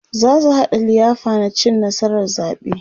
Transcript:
zasu haɗa liyafa na cin nasarar zaɓe